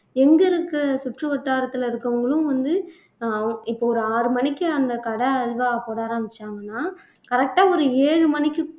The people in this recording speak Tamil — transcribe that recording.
எங்க இருக்கு சுற்றுவட்டாரத்துல இருக்குறவங்களும் வந்து அஹ் இப்ப ஒரு ஆறு மணிக்கு அந்த கடை அல்வா போட ஆரம்பிச்சாங்கன்னா correct ஆ ஒரு ஏழு மணிக்கு